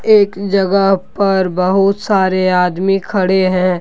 एक जगह पर बहुत सारे आदमी खड़े हैं।